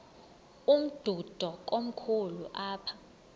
umdudo komkhulu apha